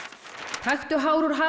taktu hár úr hala